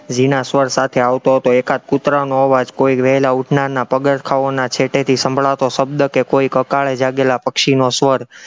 ઝીણા સ્વર સાથે આવતો હતો, એકાદ કુતરાનો અવાજ, કોઈ વહેલા ઉઠનારના પગારખાઓના છેટેથી સંભળાતો શબ્દ કે કોઈ કકાળે જાગેલા પક્ષીનો સ્વર